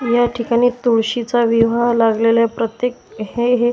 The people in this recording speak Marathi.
या ठिकाणी तुळशीचा विवाह लागलेल्या प्रत्येक हे हे --